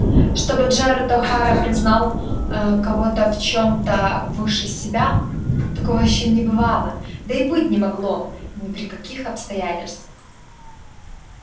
чтобы джералд охара признал аа кого-то в чём-то выше себя такого ещё не бывало да и быть не могло ни при каких обстоятельствах